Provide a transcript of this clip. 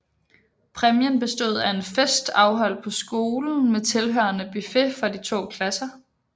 Præmien bestod af en fest afholdt på skolen med tilhørende buffet for de to klasser